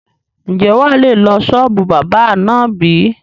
Ń jẹ́ wá lè lọ sọ́ọ́bù báábà náà bí?